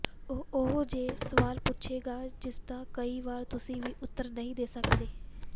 ਉਹ ਉਹੋ ਜਿਹੇ ਸਵਾਲ ਪੁੱਛੇਗਾ ਜਿਸਦਾ ਕਈ ਵਾਰ ਤੁਸੀਂ ਵੀ ਉੱਤਰ ਨਹੀਂ ਦੇ ਸਕਦੇ